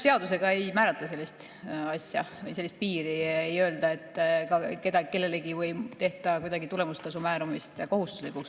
Seadusega ei määrata sellist asja või sellist piiri, ei öelda seda kellelegi või ei tehta tulemustasu määramist kuidagi kohustuslikuks.